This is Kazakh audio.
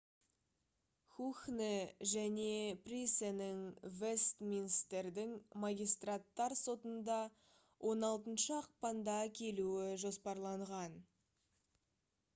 хухне және присенің вестминстердің магистраттар сотында 16 ақпанда келуі жоспарланған